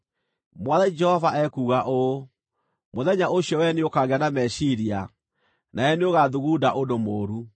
“ ‘Mwathani Jehova ekuuga ũũ: Mũthenya ũcio wee nĩũkagĩa na meciiria, nawe nĩũgathugunda ũndũ mũũru.